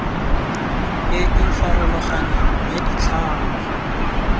e e farologaneng ya ditlhangwa